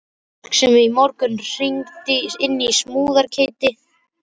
Fólk sem í morgun hringdi inn samúðarskeyti.